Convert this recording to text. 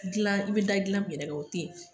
Gilan i be da gilan min yɛrɛ kan o te yen